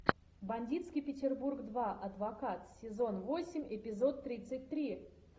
бандитский петербург два адвокат сезон восемь эпизод тридцать три